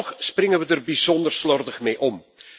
Toch springen we er bijzonder slordig mee om.